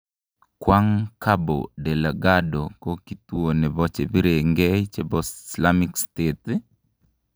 Kwang cabo Delgado ko kituo nepo chepirenge chepo slamik state?